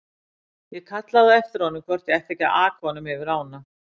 Ég kallaði á eftir honum hvort ég ætti ekki að aka honum yfir ána.